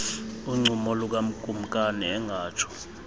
uncumo lukakumkani engatsho